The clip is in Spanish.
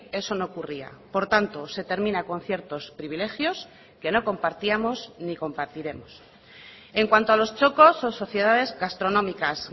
eso no ocurría por tanto se termina con ciertos privilegios que no compartíamos ni compartiremos en cuanto a los txokos o sociedades gastronómicas